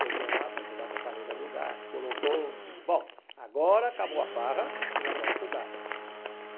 Peguei um lá para ajudar a botar a mesa no lugar, colocou, digo, bom, agora acabou a farra e nós vamos estudar.